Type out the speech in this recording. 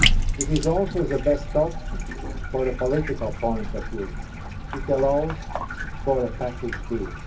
It is also the best option from a political point of view, and it allows for a package deal.